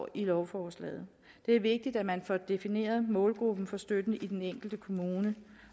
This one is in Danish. i lovforslaget det er vigtigt at man får defineret målgruppen for støtten i den enkelte kommune